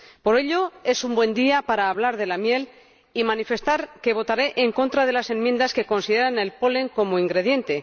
Por ello, es un buen día para hablar de la miel y manifestar que votaré en contra de las enmiendas que consideran el polen como ingrediente.